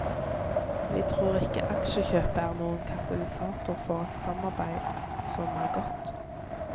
Vi tror ikke aksjekjøpet er noen katalysator for et samarbeid som er godt.